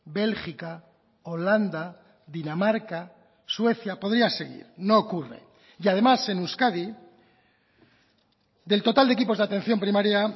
bélgica holanda dinamarca suecia podría seguir no ocurre y además en euskadi del total de equipos de atención primaria